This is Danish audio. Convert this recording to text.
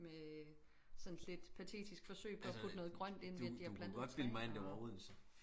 Med sådan et lidt patetisk forsøg på at putte lidt grønt ind ved de har plantet lidt træer og